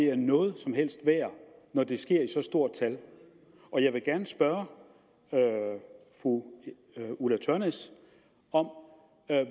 er noget som helst værd når det sker i så stort tal jeg vil gerne spørge fru ulla tørnæs om